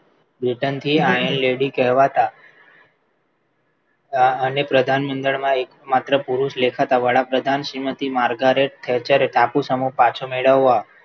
Britain થી ayan lady કહેવાતા અને પ્રધાનમંત્રીમાં માત્ર પુરુષ દેખાતા વડાપ્રધાન થી Margaret થયેલા જ્યારે ટાપુ સમુહ પાછો મેળવવા